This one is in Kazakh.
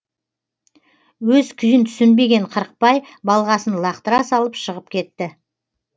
өз күйін түсінбеген қырықбай балғасын лақтыра салып шығып кетті